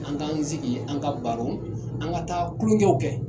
An k'an sigi an ka baro an ka taa tulonkɛw kɛ.